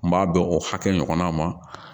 N b'a bɛn o hakɛ ɲɔgɔnna ma